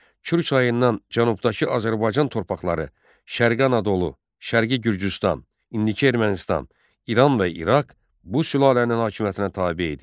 Kür çayından cənubdakı Azərbaycan torpaqları, Şərqi Anadolu, Şərqi Gürcüstan, indiki Ermənistan, İran və İraq bu sülalənin hakimiyyətinə tabe idi.